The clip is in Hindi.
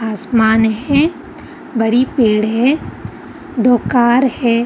आसमान है बड़ी पेड़ है दो कार है।